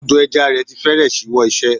Odò ẹja rẹ̀ ti fẹ́rẹ̀ ṣíwọ́ iṣẹ́.